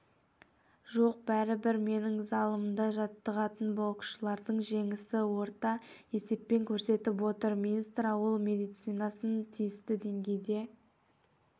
жоқ бәрібір менің залымда жаттығатын боксшылардың жеңісі орта есеппен көрсетіп отыр министр ауыл медицинасын тиісті деңгейде